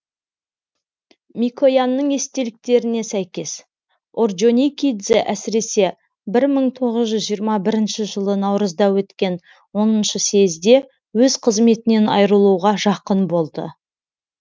микоянның естеліктеріне сәйкес орджоникидзе әсіресе бір мың тоғыз жүз жиырма бірінші жылы наурызда өткен оныншы съезде өз қызметінен айрылуға жақын болды